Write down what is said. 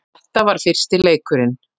Þetta var fyrsti leikurinn